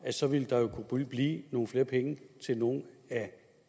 så ville der blive nogle flere penge til nogle af